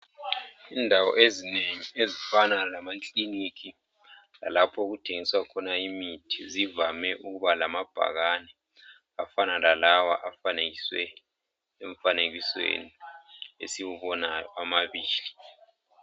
Indawo ezinengi ezifana lamakilinika lapho okuthengiswa khona imithi zivame ukuba lamabhakane afana lalawa afanekiswe emfanekisweni esiwubonayo amabili.